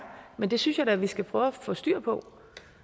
men det synes jeg da vi skal prøve at få styr på